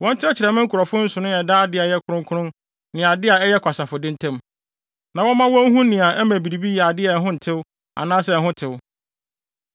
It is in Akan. Wɔnkyerɛkyerɛ me nkurɔfo nsonoe a ɛda ade a ɛyɛ kronkron ne ade a ɛyɛ kwasafo de ntam, na wɔmma wɔn nhu nea ɛma biribi yɛ ade a ho ntew anaasɛ ho tew.